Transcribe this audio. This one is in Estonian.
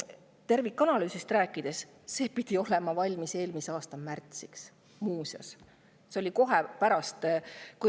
Tervikanalüüsist rääkides – see pidi valmis olema eelmise aasta märtsiks.